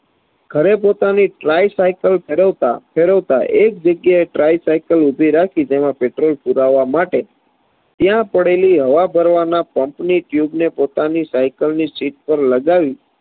ઘરે પોતાની tricycle ફેરવતા ફેરવતા એક જગ્યાએ tricycle ઊભી રાખી તેમાં petrol પુરાવવા માટે, ત્યાં પડેલી હવા ભરવાના pump ની tube ને પોતાની સાયકલની seat પર લગાવી